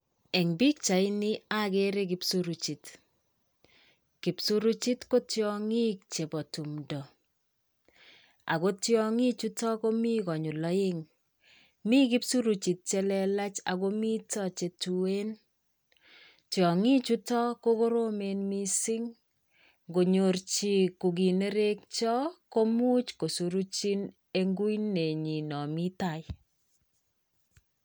Eng' pichaini, agere kipsuruchit. Kipsuruchit ko tiong'ik chepo tumdo. Ago tiong'ik chuto komi konyil oeng'. Mi kipsuruchit che lelach ago mito chetuen. Tiong'ik chuto ko koromen missing ngonyor chi kokinerekyo komuch kosuruchin en kuinenyin nomi tai.